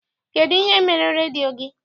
Kedụ ihe mere redio gị?